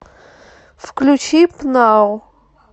включи пнау